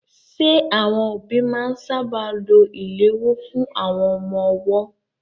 Ṣé àwọn òbí máa ń sáábà lo ìléwọ́ fún àwọn ọmọ ọwọ́?